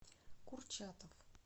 курчатов